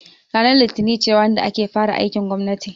Ranar litini ce ranar da ake fara aikin gwammati